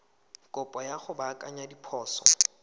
kopo ya go baakanya diphoso